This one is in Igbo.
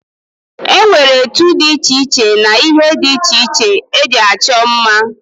E nwere etu dị iche iche na ihe ndị iche iche e ji achọ mma.